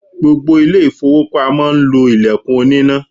Gbogbo ilé-ifowopamo ń lo ilẹkun oníná.